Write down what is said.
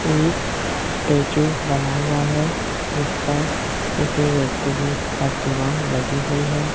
एक स्टेचू बना हुआ है जिस पर किसी व्यक्ति की प्रतिमा लगी हुई है।